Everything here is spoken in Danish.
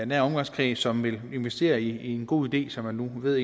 nære omgangskreds som vil investere i en god idé som man nu ved